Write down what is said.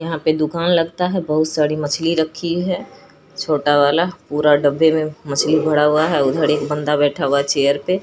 यहां पे दुकान लगता है बहुत सारी मछली रखी है छोटा वाला पूरा डब्बे में मछली भरा हुआ है उधर एक बंदा बैठा हुआ है चेयर पे--